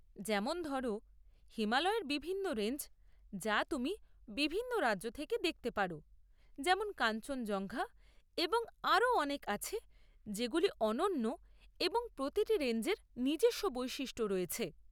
যেমন ধরো, হিমালয়ের বিভিন্ন রেঞ্জ যা তুমি বিভিন্ন রাজ্য থেকে দেখতে পারো, যেমন কাঞ্চনজঙ্ঘা, এবং আরও অনেক আছে যেগুলি অনন্য, এবং প্রতিটি রেঞ্জের নিজস্ব বৈশিষ্ট্য রয়েছে।